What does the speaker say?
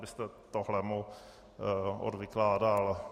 Kdybyste tohle mu odvykládal.